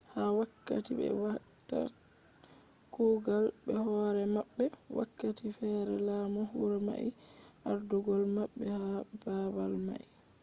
ha wakkati be watta kugal be hore mabbe wakkati fere lamdo huro mai be ardugol mabbe ha babal mai